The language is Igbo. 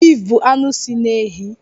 Bif bụ anụ si na ehi.